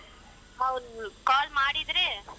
ಹೌದು call ಮಾಡಿದ್ರೆ.